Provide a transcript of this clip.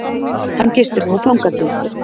Hann gistir nú fangageymslu